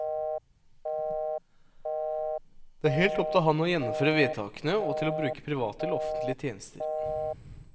Det er helt opp til ham å gjennomføre vedtakene, og til å bruke private eller offentlige tjenester.